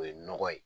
O ye nɔgɔ ye